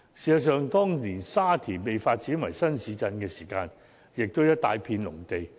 事實上，當年沙田被發展為新市鎮時，也不過是一大片農地。